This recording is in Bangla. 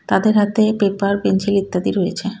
তাদের হাতে পেপার পেন্সিল ইত্যাদি রয়েছে.